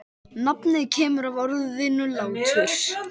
Nafnið kemur af orðinu látur.